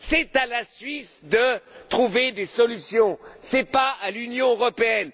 C'est à la Suisse de trouver des solutions, ce n'est pas à l'Union européenne